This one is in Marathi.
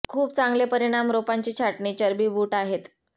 खूप चांगले परिणाम रोपांची छाटणी चरबी बूट आहेत